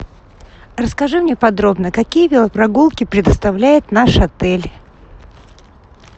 расскажи мне подробно какие велопрогулки предоставляет наш отель